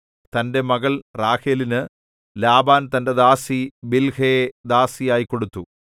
തന്റെ മകൾ റാഹേലിന് ലാബാൻ തന്റെ ദാസി ബിൽഹയെ ദാസിയായി കൊടുത്തു